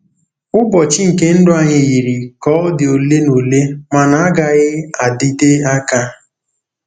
ỤBỌCHỊ nke ndụ anyị yiri ka ọ dị ole na ole ma na-agaghị adịte aka.